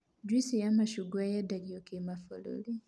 Njuici ya macungwa yendagio kĩmabũrũri